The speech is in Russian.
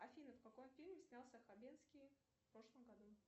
афина в каком фильме снялся хабенский в прошлом году